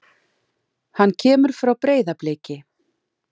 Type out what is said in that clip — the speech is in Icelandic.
Hann kemur frá Breiðabliki.